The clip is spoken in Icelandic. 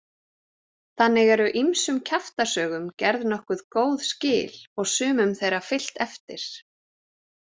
Þannig eru ýmsum kjaftasögum gerð nokkuð góð skil og sumum þeirra fylgt eftir.